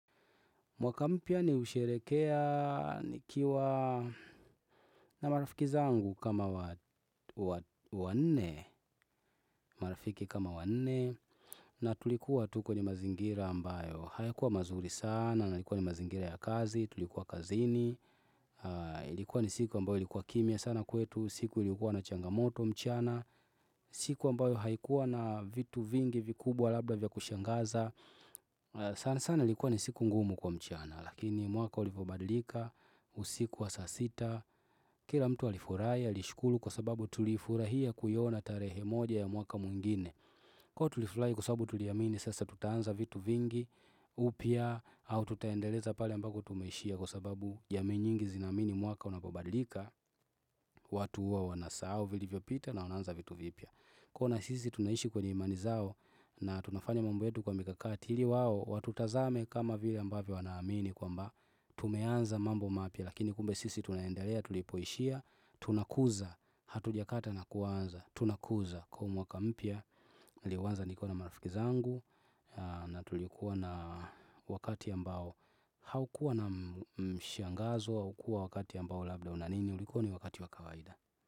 Mwaka mpya nihusherekea nikiwa na marafiki zangu kama wa wa wa nne, marafiki kama wa nne, na tulikuwa tu kenye mazingira ambayo, hayakuwa mazuri sana, nalikuwa ni mazingira ya kazi, tulikuwa kazini, ilikuwa ni siku ambayo ilikuwa kimya sana kwetu, siku ilikuwa na changamoto mchana, siku ambayo haikuwa na vitu vingi vikubwa labda vya kushangaza, sana sana ilikuwa ni siku ngumu kwa mchana, Lakini mwaka ulipobadilika usiku wa saa sita Kila mtu alifurahi alishuru kwa sababu tulifurahia kuiona tarehe moja ya mwaka mwingine Kwa tulifurahi kwa sababu tuliamini sasa tutaanza vitu vingi upya au tutaendeleza pahali ambako tumeishia kwa sababu jamii nyingi zinaamini mwaka unapobadilika watu huwa wanasahao vilivyopita na wanaanza vitu vipya kuona sisi tunaishi kwenye imani zao na tunafanya mambo yetu kwa mikakati ili wao, watutazame kama vile ambavyo wanaamini kwamba, tumeanza mambo mapya, lakini kumbe sisi tunaendelea, tulipoishia, tunakuza, hatuja kata na kuanza, tunakuza, kuwa mwaka mpya, liwanza nikiwa marafiki zangu, na tulikuwa na wakati ambao, haukuwa na mshangazo, haukua wakati ambao labda, una nini ulikuwa ni wakati wakawaida.